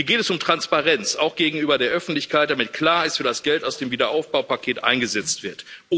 Hier geht es um Transparenz, auch gegenüber der Öffentlichkeit, damit klar ist, wie das Geld aus dem Wiederaufbaupaket eingesetzt wird.